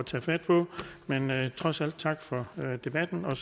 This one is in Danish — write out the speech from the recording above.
tage fat på men jeg vil trods alt sige tak for debatten og